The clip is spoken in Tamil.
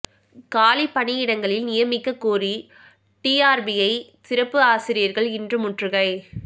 காலி பணியிடங்களில் நியமிக்க கோரி டிஆர்பியை சிறப்பு ஆசிரியர்கள் இன்று முற்றுகை